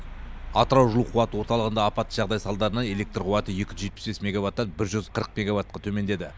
атырау жылу қуат орталығында апатты жағдай салдарынан электр қуаты екі жүз жетпіс бес мегаваттан бір жүз қырық мегаватқа төмендеді